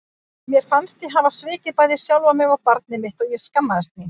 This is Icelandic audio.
Mér fannst ég hafa svikið bæði sjálfa mig og barnið mitt og ég skammaðist mín.